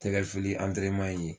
Tɛgɛfili ye